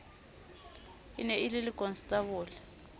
e ne e le lekonstabole